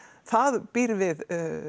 það býr við